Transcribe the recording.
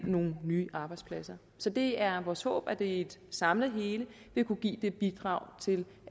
nogle nye arbejdspladser så det er vores håb at det set som et samlet hele vil kunne give det bidrag til